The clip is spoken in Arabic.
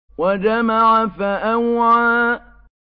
وَجَمَعَ فَأَوْعَىٰ